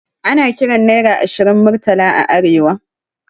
Ana kiran naira ashirin Murtala a arewa